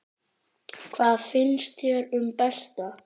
Hvað finnst þér um Berta?